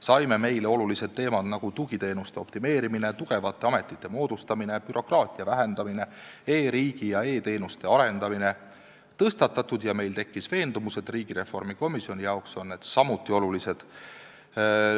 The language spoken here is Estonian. Saime meile olulised teemad, nagu tugiteenuste optimeerimine, tugevate ametite moodustamine, bürokraatia vähendamine, e-riigi ja e-teenuste arendamine, tõstatatud ja meil tekkis veendumus, et riigireformi komisjoni jaoks on need samuti olulised.